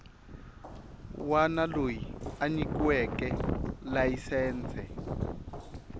wana loyi a nyikiweke layisense